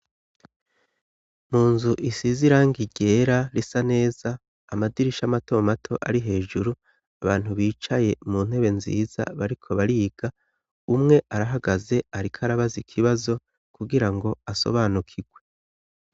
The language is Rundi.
Mu nzu isize iranga ryera risa neza amadirisha amato mato ari hejuru abantu bicaye mu ntebe nziza bariko bariga umwe arahagaze ariko arabaze ikibazo kugira ngo asobanukirwe.